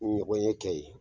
Ɲɔgɔnye kɛ ye.